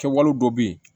Kɛwale dɔ bɛ yen